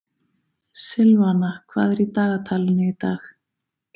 Silvana, hvað er í dagatalinu í dag?